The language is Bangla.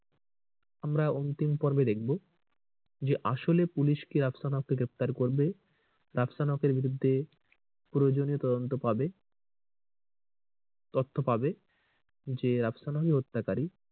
আমরা অন্তিম পর্বে দেখবো যে আসলে পুলিশ কি রাফসান হক কে গ্রেফতার করবে? রাফসান হক এর বিরুদ্ধে প্রয়োজনীয় তদন্ত পাবে তথ্য পাবে যে রাফসান হক ই হত্যা কারী।